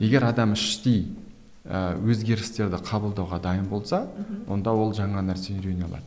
егер адам іштей ыыы өзгерістерді қабылдауға дайын болса мхм онда ол жаңа нәрсе үйрене алады